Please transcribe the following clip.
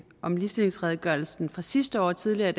om ligestillingsredegørelsen fra sidste år tidligere i